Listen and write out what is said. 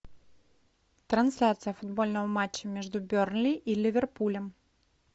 трансляция футбольного матча между бернли и ливерпулем